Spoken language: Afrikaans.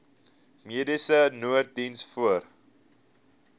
mediese nooddiens voor